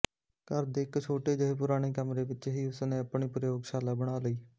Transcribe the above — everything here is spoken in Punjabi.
ਘਰ ਦੇ ਇੱਕ ਛੋਟੇ ਜਿਹੇ ਪੁਰਾਣੇ ਕਮਰੇ ਵਿੱਚ ਹੀ ਉਸ ਨੇ ਆਪਣੀ ਪ੍ਰਯੋਗਸ਼ਾਲਾ ਬਣਾ ਲਈ